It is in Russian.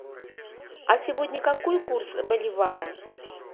а сегодня какой курс боливара